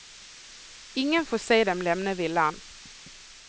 Ingen får se dem lämna villan.